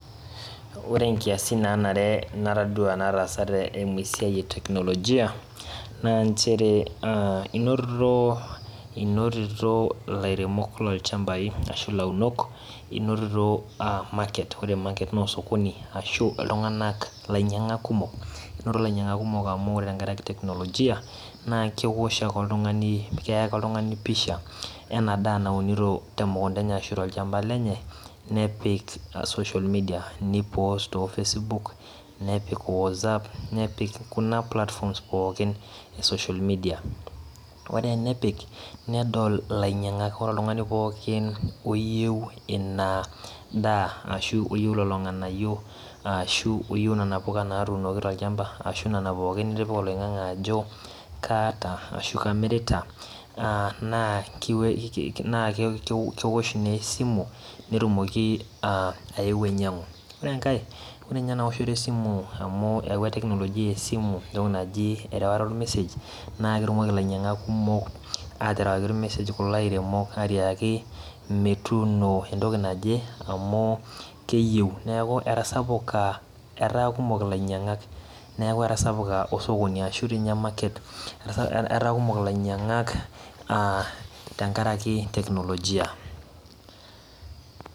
Ore nkiasin nanare natadua nataasate eimu esiai eteknolojia na nchere inotito lairemok lorchambau ashulaunok inotito market na osokoni ashu ltunganak lainyangak kumok neaku kekumok tenkaraki [cs[teknologia[cs[ kewosh ake oltungani keya ake oltungani pisha neunito tolchamba ashu te mukunda enye nepik social media ni post te facebook[vs] nepik watsapp kuna [cs[platforms pookin e social media ore enepik nedol ilainyangak oltungani pookin oyieu inadaa ashu oyieu lolo nganayioashu oyieu nona puka natuunoki tolchamba ashu nona pookin nitipia oloingangi ajo kaata ashu kamirota na kewosh na esimu netumoki aeu ainyangu, ore enkae ore enaoto esiku amu eyawua technologia esimu enasia naki erewata ormesej na ketumoki lainyangak kumok ater waki irmeseji entoki naje neaku etasapukaataa kumok ilainyangak arashu ormarker[cs[ etaa kumok ilainyangak tenkaraki technologia